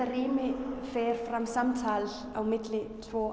rými fer fram samtal á milli tveggja